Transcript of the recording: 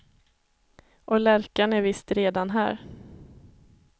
Och lärkan är visst redan här.